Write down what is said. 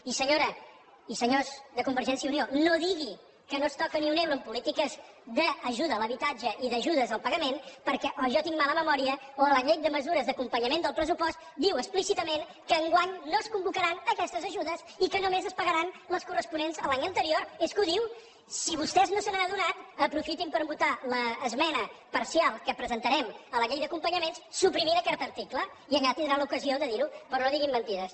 i senyora i senyors de convergència i unió no diguin que no es toca ni un euro en polítiques d’ajuda a l’habitatge i d’ajudes al pagament perquè o jo tinc mala memòria o a la llei de mesures d’acompanyament del pressupost es diu explícitament que enguany no es convocaran aquestes ajudes i que només es pagaran les corresponents a l’any anterior és que ho diu si vostès no se n’han adonat aprofitin per votar l’esmena parcial que presentarem a la llei d’acompanyament per suprimir aquest article i allà tindrà l’ocasió de dir ho però no diguin mentides